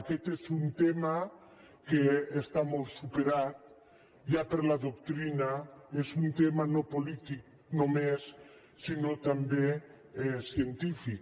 aquest és un tema que està molt superat ja per la doctrina és un tema no polític només sinó també científic